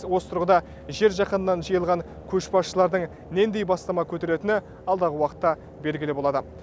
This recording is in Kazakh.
осы тұрғыда жер жаһаннан жиылған көшбасшылардың нендей бастама көтеретіні алдағы уақытта белгілі болады